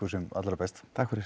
sem allra best takk fyrir